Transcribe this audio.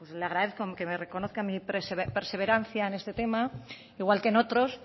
le agradezco que me reconozca mi perseverancia en este tema igual que en otros